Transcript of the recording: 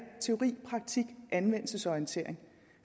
teori praktik anvendelsesorientering